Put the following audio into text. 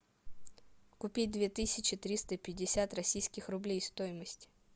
купить две тысячи триста пятьдесят российских рублей стоимость